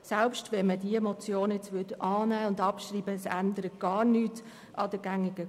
Selbst wenn man diese Motion annehmen und abschreiben würde, würde sich nichts ändern.